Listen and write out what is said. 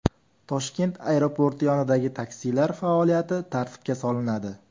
Toshkent aeroporti yonidagi taksilar faoliyati tartibga solinadi.